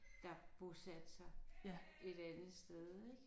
Der bosatte sig et andet sted ik